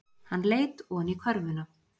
Hann leit oní körfuna.